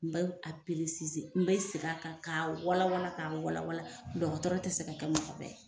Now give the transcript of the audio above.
N be a peresize n be segin a kan ka walawala ka walawala dɔgɔtɔrɔ te se ka kɛ mɔgɔ bɛɛ ye